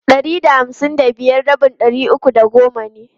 Ɗari da hamsin da biyar rabin ɗari uku da goma ne.